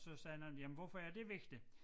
Så sagde den anden jamen hvorfor er det vigtigt?